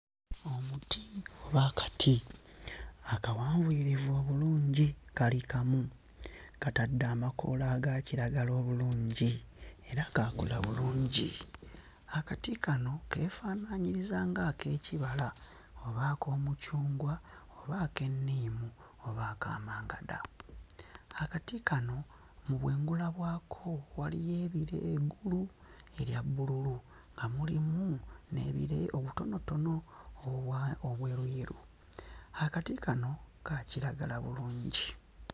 Omuti oba akati akawanvuyirivu obulungi kali kamu katadde amakoola aga kiragala obulungi era kaakula bulungi. Akati kano keefaanaanyiriza nga ak'ekibala oba ak'omucungwa oba ak'enniimu oba aka mangada. Akati kano mu bwengula bwako waliyo ebire engulu erya bbululu nga mulimu n'ebire obutonotono obwa obweruyeru. Akati kano ka kiragala bulungi.